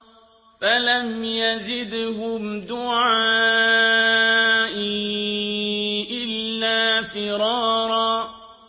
فَلَمْ يَزِدْهُمْ دُعَائِي إِلَّا فِرَارًا